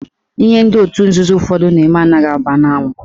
Ihe ndị otu nzuzo ụfọdụ na-eme anaghị agba ya n'anwụ.